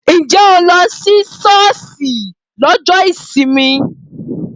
Ǹjẹ́ o lọ sí sọ́ọ́sì lọ́jọ́ ìsinmi?